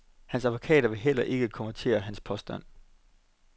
Hans advokater vil heller ikke kommentere hans påstand.